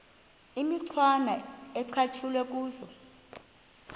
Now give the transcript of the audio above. imicwana ecatshulwe kuzo